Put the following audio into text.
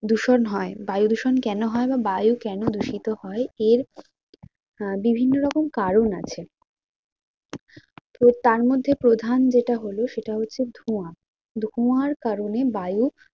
দূষণ হয় বায়ু দূষণ কেন হয় বা বায়ু কেন দূষিত হয় এর আহ বিভিন্ন রকম কারণ আছে। তো তার মধ্যে প্রধান যেটা হল তার সেটা হচ্ছে ধোঁয়া, ধোঁয়ার কারণে বায়ু